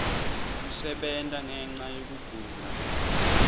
kusebenta ngenca yekugula